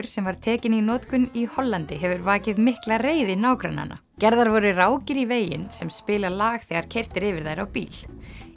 sem var tekinn í notkun í Hollandi hefur vakið mikla reiði nágrannanna gerðar voru rákir í veginn sem spila lag þegar keyrt er yfir þær á bíl